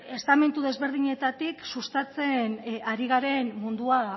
estamentu desberdinetatik sustatzen ari garen mundua